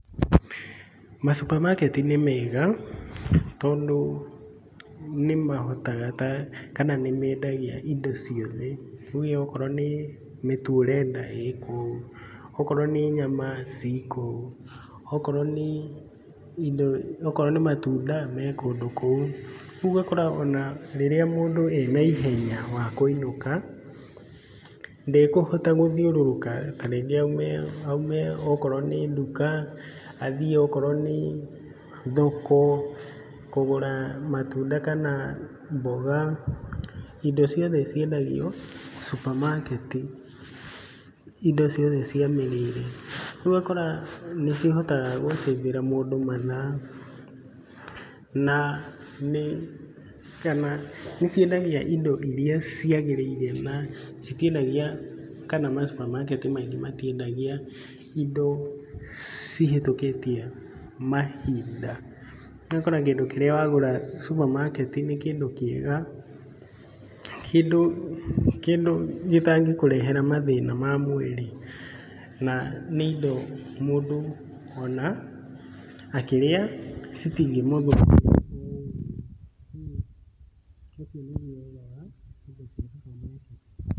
Masupamaketi nĩ mega tondũ nĩ mahotaga kana nĩ mendagia indo ciothe, rĩu okorwo nĩ mĩtu ũrenda, ĩ kou, okorwo nĩ nyama ciĩ kou, okorwo nĩ indo okorwo nĩ matunda, me kũndũ kou, rĩu ũgakora ona rĩrĩa mũndũ e na ihenya wa kũinũka, ndekũhota gũthiũrũrũka ta rĩngĩ aume okorwo nĩ nduka athiĩ okorwo nĩ thoko kũgũra matunda kana mboga, indo ciothe ciendagio supamaketi, indo ciothe cia mĩrĩire, rĩu ũgakora nĩ cihotaga gũcĩvĩra mũndũ mathaa kana nĩ ciendagia indo iria ciagĩrĩire na citiendagia kana masupamaketi maingĩ matiendagia indo cihĩtũkĩtie mahinda. Ũgakora kĩndũ kĩrĩa wagũra supamaketi nĩ kĩndũ kĩega kĩndũ gĩtangĩkũrehera mathĩna ma mwĩrĩ na nĩ indo mũndũ o na akĩrĩa citingĩmũthũkĩra kũguo ũcio nĩguo wega wa indo cia supamaketi.